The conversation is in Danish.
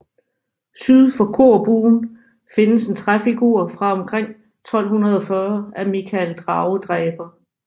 Syd for korbuen findes en træfigur fra omkring 1240 af Mikael dragedræber